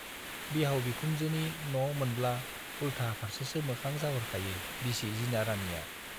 बिहाव बिखुनजोनि न' मोनब्ला उल्टा फार्सेसो मोखां जाहरखायो बिसि जिना राणीया।